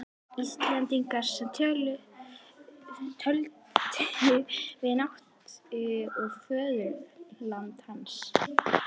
Íslendinga, sem töldu til vináttu við föðurland hans.